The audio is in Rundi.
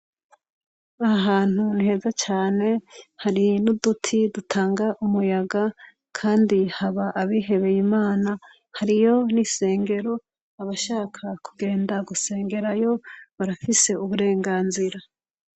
Aha hantu ni heza cane. Hari n'uduti dutanga umuyaga kandi haba abihebey'Imna. Hariyo n'isengero. Abashaka kugenda gusengerayo barafise uburenganzira.